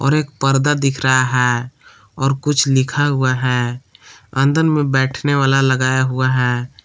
और एक पर्दा दिख रहा है और कुछ लिखा हुआ है अंदर में बैठने वाला लगाया हुआ है।